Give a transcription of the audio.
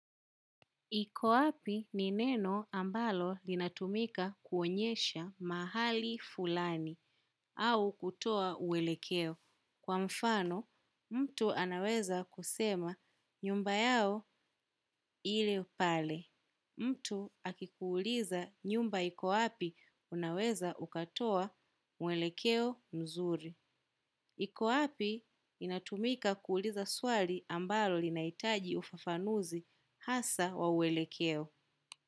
Iko wapi ni neno ambalo linatumika kuonyesha mahali fulani au kutoa uwelekeo. Kwa mfano, mtu anaweza kusema nyumba yao ile pale. Mtu akikuuliza nyumba iko wapi unaweza ukatoa mwelekeo mzuri. Iko api inatumika kuuliza swali ambalo linahitaji ufafanuzi hasa wa uwelekeo.